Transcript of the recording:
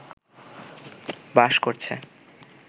বাস করছে